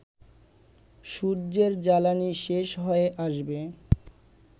সূর্যের জ্বালানি শেষ হয়ে আসবে